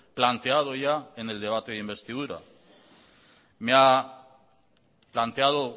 planteado ya en el debate de investidura me ha planteado